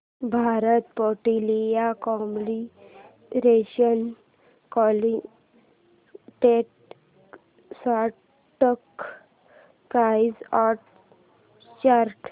Bharat petroleum corporation limited stock price and chart